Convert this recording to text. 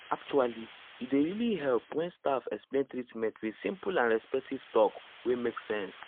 actually e dey really help when staff explain treatment with simple and respectful talk wey make sense.